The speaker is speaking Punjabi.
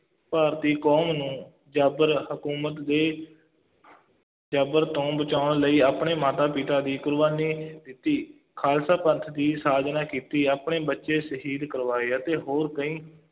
ਭਾਰਤੀ ਕੌਮ ਨੂੰ ਜ਼ਾਬਰ ਹਕੂਮਤ ਦੇ ਜ਼ਬਰ ਤੋਂ ਬਚਾਉਣ ਲਈ ਆਪਣੇ ਮਾਤਾ-ਪਿਤਾ ਦੀ ਕੁਰਬਾਨੀ ਦਿੱਤੀ, ਖਾਲਸਾ ਪੰਥ ਦੀ ਸਾਜਨਾ ਕੀਤੀ, ਆਪਣੇ ਬੱਚੇ ਸ਼ਹੀਦ ਕਰਵਾਏ ਅਤੇ ਹੋਰ ਕਈ